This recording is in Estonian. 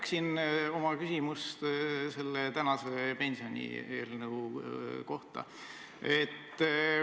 Ma jätkan oma küsimust tänase pensionieelnõu kohta.